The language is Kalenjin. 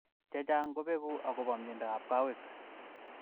Chechang kobeku akobo mnyendo ab kowek.